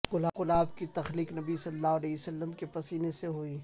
گلاب کی تخلیق نبی صلی اللہ علیہ وسلم کے پسینے سے ھوئی